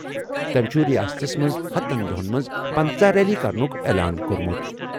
تٔمۍ چھُ ریاستَس منٛز ہَتن دۄہَن منٛز پنژہ ریلیہٕ کرنُک اعلان کوٚرمُت۔